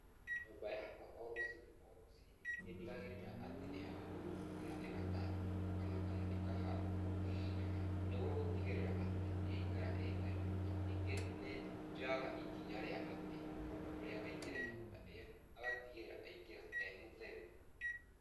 Nyũmba yakwa o rũciinĩ o rũciinĩ nĩ ndigagĩrĩra atĩ ni yahurwo kana igathambio o na kana ikahatwo, niguo gũtigirira ati ni yaikara ii theru. Ningĩ nĩ njoyaga ikinya rĩa atĩ mũndũ ũrĩa waingĩra nyũmba ĩyo agatigĩrĩra aingĩra e mũtheru.